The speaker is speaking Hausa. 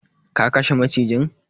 ka kashe macijin?